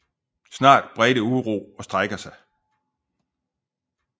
Snart bredte uro og strejker sig